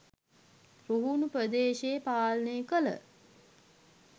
රුහුණු ප්‍රදේශය පාලනය කළ